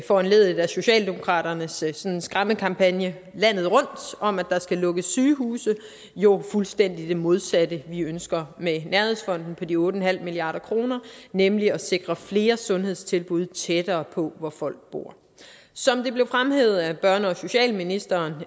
foranlediget af socialdemokraternes sådan skræmmekampagne landet rundt om at der skal lukkes sygehuse jo fuldstændig det modsatte vi ønsker med nærhedsfonden på de otte milliard kr nemlig at sikre flere sundhedstilbud tættere på hvor folk bor som det blev fremhævet af børne og socialministeren